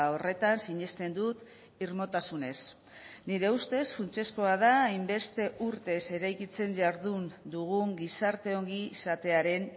horretan sinesten dut irmotasunez nire ustez funtsezkoa da hainbeste urtez eraikitzen jardun dugun gizarte ongizatearen